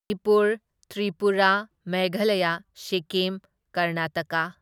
Manipur, Tripura, Meghalaya, Sikkim, Karnataka.